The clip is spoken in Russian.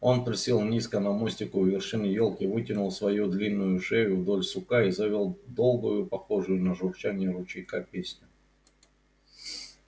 он присел низко на мостику у вершины ёлки вытянул свою длинную шею вдоль сука и завёл долгую похожую на журчание ручейка песню